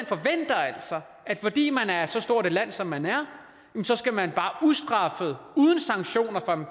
altså at fordi man er så stort et land som man er så skal man bare ustraffet uden sanktioner fra den